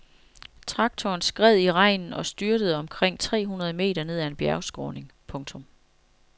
Traktoren skred i regnen og styrtede omkring tre hundrede meter ned ad en bjergskråning. punktum